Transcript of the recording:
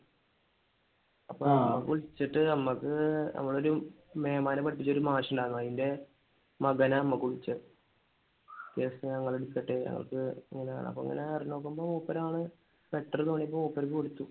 അപ്പൊ അവർ വിളിച്ചിട്ട് നമ്മക്ക് നമ്മുടെ ഒരു മേമാനെ പഠിപ്പിച്ച ഒരു മാഷിണ്ടായിരുന്നു. അതിന്റെ മകന നമ്മക്ക് വിളിച്ചേ. cases ഞങ്ങൾ എടുത്തിട്ട് ഞങ്ങൾക്ക് അപ്പൊ അങ്ങനെ നോക്കുമ്പോ മൂപ്പർ ആൾ better ആണെന്ന് തോന്നിയപ്പോൾ മൂപ്പർക്ക് കൊടുത്തു.